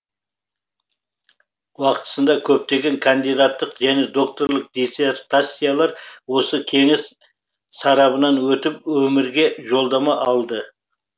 уақытысында көптеген кандидаттық және докторлық диссертациялар осы кеңес сарабынан өтіп өмірге жолдама алды